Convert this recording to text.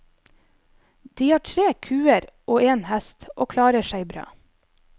De har tre kuer og en hest, og klarer seg bra.